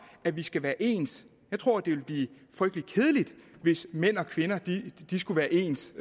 at vi skal være ens jeg tror det ville blive frygtelig kedeligt hvis mænd og kvinder skulle være ens